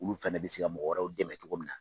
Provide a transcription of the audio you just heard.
Olu fɛnɛ bɛ se ka mɔgɔ wɛrɛw dɛmɛ cogo min na.